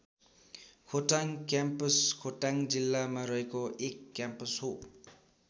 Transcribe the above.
Khotang campus Khotang जिल्लामा रहेको एक क्याम्पस हो।